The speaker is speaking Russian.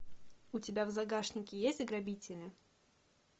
у тебя в загашнике есть грабители